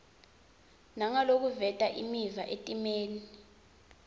nangalokuveta imiva etimeni